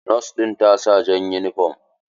Nos ɗin ta sa jan yunifom.